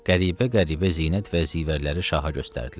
Qəribə-qəribə zinət və zivərləri Şaha göstərdilər.